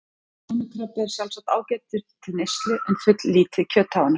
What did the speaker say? Trjónukrabbi er sjálfsagt ágætur til neyslu en fulllítið kjöt á honum.